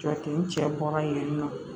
Jɔ ten cɛ bɔra yen nɔ